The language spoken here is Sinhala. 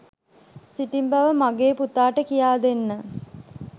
සිටින බව මාගේ පුතාට කියා දෙන්න.